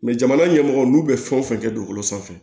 jamana ɲɛmɔgɔ n'u bɛ fɛn o fɛn kɛ dugukolo sanfɛ